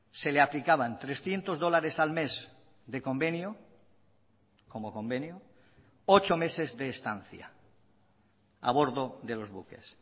se le aplicaban trescientos dólares al mes de convenio como convenio ocho meses de estancia a bordo de los buques